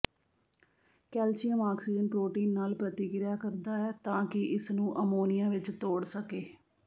calcium oxygen protein ਨਾਲ ਪ੍ਰਤੀਕ੍ਰਿਆ ਕਰਦਾ ਹੈ ਤਾਂ ਕਿ ਇਸਨੂੰ ਅਮੋਨੀਆ ਵਿੱਚ ਤੋੜ ਸਕੇ